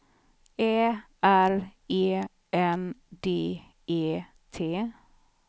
Ä R E N D E T